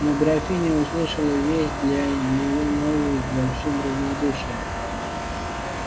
но графиня услышала весть для неё новую с большим равнодушием